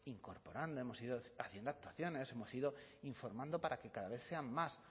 incorporando hemos ido haciendo actuaciones hemos ido informando para que cada vez sean más